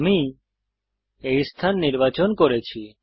আমি এই স্থান নির্বাচন করেছি